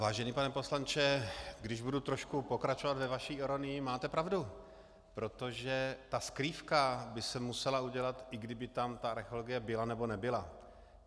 Vážený pane poslanče, když budu trošku pokračovat ve vaší ironii, máte pravdu, protože ta skrývka by se musela udělat, i kdyby tam ta archeologie byla, nebo nebyla.